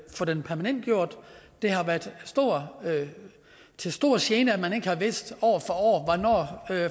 få den permanentgjort det har været til stor gene at man ikke har vidst år